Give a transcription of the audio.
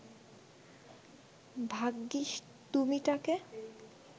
ভাগ্যিস তুমি ট্যাঁকে